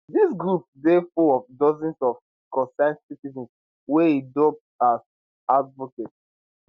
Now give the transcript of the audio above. dis groups dey full of dozens of concerned citizens wey e dub as advocates